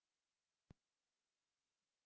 हमसे जुड़ने के लिए धन्यवाद